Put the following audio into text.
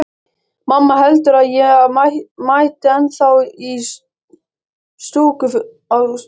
Mamma heldur að ég mæti ennþá á stúkufundi.